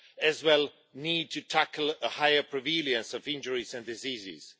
as well as need to tackle a higher prevalence of injuries and diseases.